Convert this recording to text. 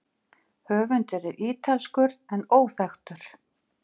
Höfundur er ítalskur en óþekktur.